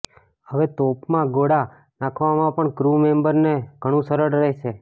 હવે તોપમાં ગોળા નાખવામાં પણ ક્રુ મેંબરને ઘણું સરળ રહેશે